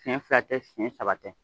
Senɲɛ fila tɛ senɲɛ saba tɛ